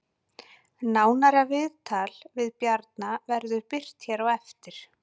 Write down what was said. Nánara viðtal við Bjarna verður birt hér á eftir